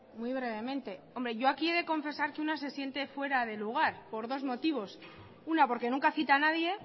muy brevemente hombre yo aquí he de confesar que una se siente fuera de lugar por dos motivos una porque nunca cita a nadie